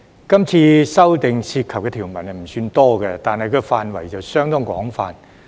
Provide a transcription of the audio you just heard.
今次修訂涉及的條文不算多，但範圍相當廣泛。